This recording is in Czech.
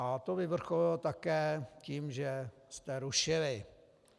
A to vyvrcholilo také tím, že jste rušili.